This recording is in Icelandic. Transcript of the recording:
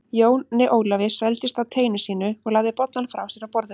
Jóni Ólafi svelgdist á teinu sínu og lagði bollann frá sér á borðið.